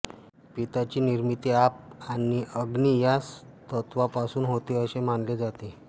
पित्ताची निर्मिती आप आणि अग्नि या तत्त्वांपासून होते असे मानले जाते